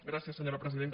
gràcies senyora presidenta